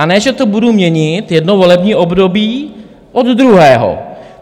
A ne že to budu měnit jedno volební období od druhého.